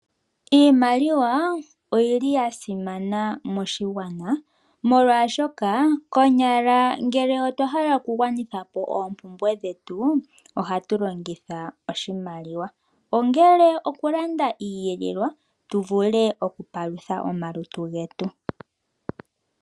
Iimaliwa oyili ya simana moshigwana molwashoka konyala ngele otwa hala oku gwanitha po oompumbwe dhetu ohatu longitha oshimaliwa. Ongele oku landa iiyelelwa tu vule oku palutha omalutu getu.